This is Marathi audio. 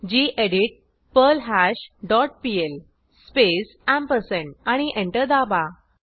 गेडीत पर्ल्हाश डॉट पीएल स्पेस आणि एंटर दाबा